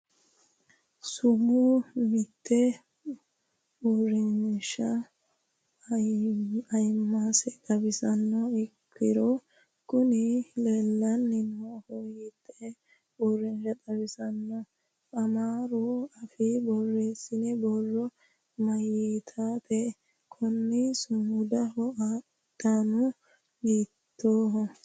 sumu miite uurinshaha ayiimmase xawisannoha ikkiro kuni leellanni noohu hiittee uurrinsha xawisanno? amaaru afiinni borreessinoonni borro mayiitannote? konni sumudunnihu danu hiittooho?